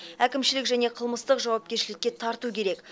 әкімшілік және қылмыстық жауапкершілікке тарту керек